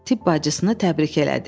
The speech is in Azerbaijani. Tibb bacısını təbrik elədi.